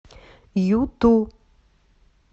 юту